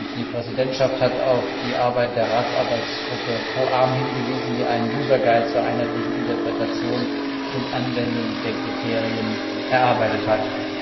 Die Präsidentschaft hat auf die Arbeit der Ratsarbeitsgruppe COARM hingewiesen, die einen user guide zur einheitlichen Interpretation und Anwendung der Kriterien erarbeitet hat.